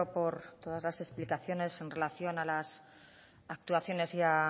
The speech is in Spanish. por todas las explicaciones en relación a las actuaciones